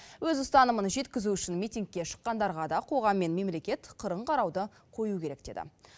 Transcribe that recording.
өз ұстанымын жеткізу үшін митингке шыққандарға да қоғам мен мемлекет қырын қарауды қою керек деді